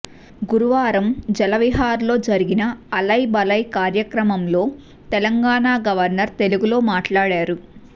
గురువారం జలవిహార్లో జరిగిన అలయ్ బలయ్ కార్యక్రమంలో తెలంగాణ గవర్నర్ తెలుగులో మాట్లాడారు